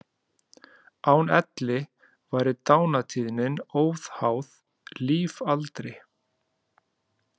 Án elli væri dánartíðnin óháð lífaldri.